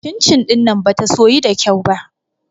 Cin-cin ɗin nan bata soyu da kyau ba.